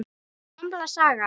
Gamla sagan.